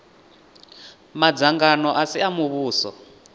madzangano a si a muvhuso